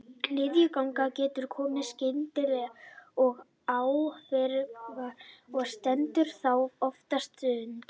Niðurgangur getur komið skyndilega og án fyrirvara og stendur þá oftast stutt.